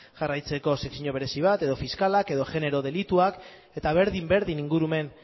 jarraitzeko sekzio berezi bat edo fiskalak edo genero delituak eta berdin berdin ingurumen